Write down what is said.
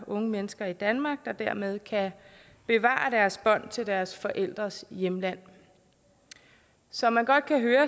unge mennesker i danmark der dermed kan bevare deres bånd til deres forældres hjemland som man godt kan høre